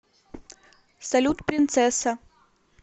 салют принцесса